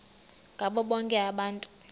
ngabo bonke abantu